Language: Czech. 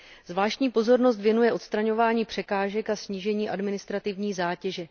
Zvláštní pozornost věnuje odstraňování překážek a snížení administrativní zátěže.